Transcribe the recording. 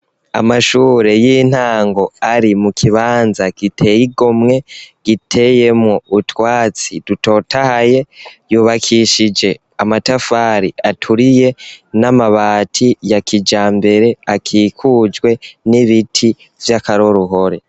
Amashuri y'intango ari mukibanza gitey'igomwe giteyemwo utwatsi dutotahaye , yubakishije amatafari aturiye n'amabati ya kijambere akikujwe n'ibiti vy'akaroruhore.